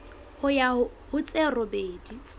ho ya ho tse robedi